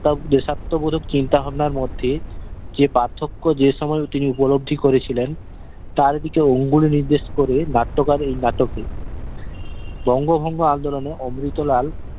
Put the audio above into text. দেশাত্মবোধক চিন্তা ভাবনার মধ্যে যে পার্থক্য যে সময়ে তিনি উপলব্ধি করেছিলেন তার দিকে আঙুলে নির্দেশ করে নাট্যকার এই নাটকে বঙ্গভঙ্গ আন্দোলনে অমৃতলাল